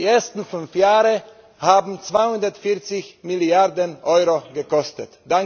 Die ersten fünf Jahre haben 240 Milliarden Euro gekostet.